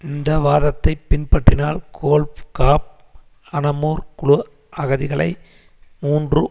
இந்த வாதத்தைப் பின்பற்றினால் கோல் காப் அனமுர் குழு அகதிகளை மூன்று